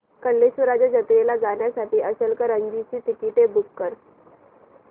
कल्लेश्वराच्या जत्रेला जाण्यासाठी इचलकरंजी ची तिकिटे बुक कर